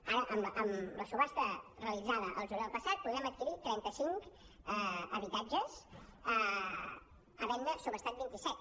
ara amb la subhasta realitzada el juliol passat podrem adquirir trenta cinc habitatges havent ne subhastat vint i set